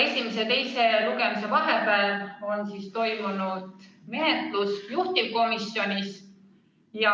Esimese ja teise lugemise vahepeal on toimunud menetlus juhtivkomisjonis.